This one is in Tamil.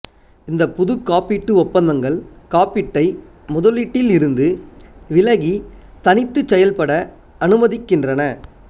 இந்த புது காப்பீட்டு ஒப்பந்தங்கள் காப்பீட்டை முதலீட்டில் இருந்து விலகி தனித்து செயல்பட அனுமதிக்கின்றன